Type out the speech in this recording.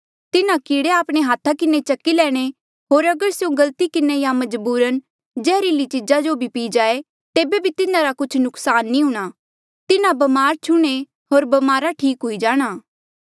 तिन्हा कीड़े आपणे हाथा किन्हें चकी लैणे होर अगर स्यों गलती किन्हें या मजबूरन जैहर्ली चीजा भी पी जाए तेबे भी तिन्हारा कुछ नुक्सान नी हूंणां तिन्हा ब्मार छुह्णे होर ब्मारा ठीक हुई जाणा